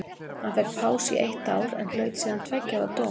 Hann fékk pásu í eitt ár en hlaut síðan tveggja ára dóm.